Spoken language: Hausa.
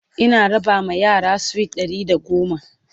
Ina raba ma yara sweet Ɗari da goma